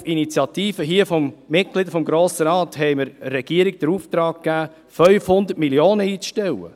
Auf Initiative einiger Mitglieder des Grossen Rates erteilten wir der Regierung den Auftrag, 500 Mio. Franken einzustellen.